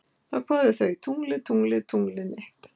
Þá kváðu þau: Tunglið, tunglið, tunglið mitt